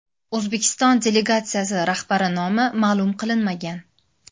O‘zbekiston delegatsiyasi rahbari nomi ma’lum qilinmagan.